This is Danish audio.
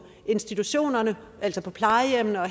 institutionerne altså på plejehjemmene og